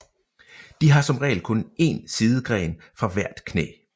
De har som regel kun én sidegren fra hvert knæ